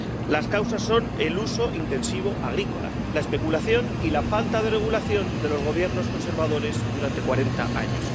Las causas son el uso intensivo agrícola, la especulación y la falta de regulación de los Gobiernos conservadores durante 40 años.